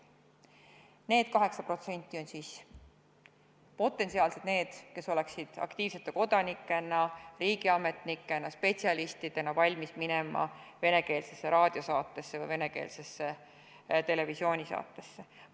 Need 8% on potentsiaalselt need, kes oleksid aktiivsete kodanike, riigiametnike või spetsialistidena valmis minema venekeelsesse raadio- või televisioonisaatesse.